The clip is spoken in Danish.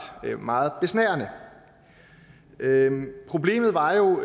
være meget besnærende problemet var jo